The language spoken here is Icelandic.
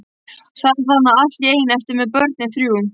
Sat þarna allt í einu eftir með börnin þrjú.